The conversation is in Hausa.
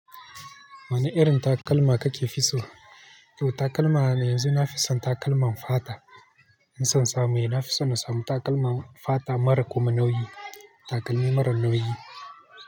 Wane irin takalma kake fi so? Yau takalma na yanzu na fi son takalman fata. In son samu, eh na fi son na samu takalman fata mara kuma nauyi. Takalmi mara nauyi.